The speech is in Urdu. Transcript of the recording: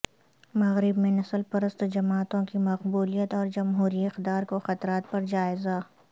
مغرب میں نسل پرست جماعتوں کی مقبولیت اور جمہوری اقدار کو خطرات پر جائزہ